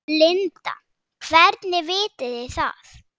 Linda: Hvernig vitið þið það?